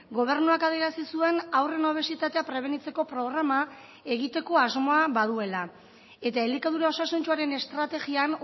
gobernuak adierazi zuen haurren obesitatea prebenitzeko programa egiteko asmoa baduela eta elikadura osasuntsuaren estrategian